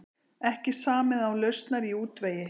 Ekki samið án lausnar í útvegi